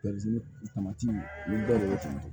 tamati ni bɛɛ de ye tan